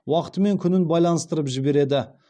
уақыты мен күнін байланыстырып жібереді